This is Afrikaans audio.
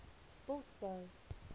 bosbou